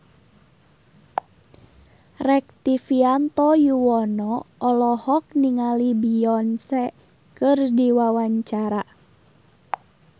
Rektivianto Yoewono olohok ningali Beyonce keur diwawancara